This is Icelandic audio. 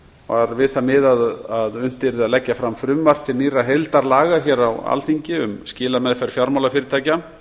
var við það miðað að unnt yrði að leggja fram frumvarp til nýrra heildarlaga á alþingi um skilameðferð fjármálafyrirtækja